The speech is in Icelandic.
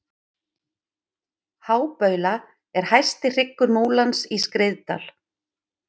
hábaula er hæsti hryggur múlans í skriðdal